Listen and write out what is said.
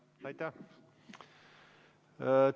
Aitäh!